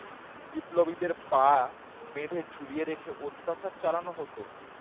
বিপ্লবীদের পা বেঁধে ঝুলিয়ে রেখে অত্যাচার চালানো হত